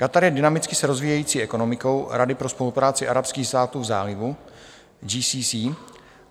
Katar je dynamicky se rozvíjející ekonomikou Rady pro spolupráci arabských států v Zálivu - GCC.